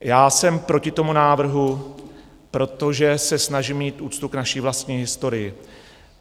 Já jsem proti tomu návrhu, protože se snažím mít úctu k naší vlastní historii.